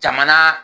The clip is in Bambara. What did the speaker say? Jamana